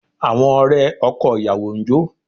Àwọn ọ̀rẹ́ ọkọ ìyàwó ń jó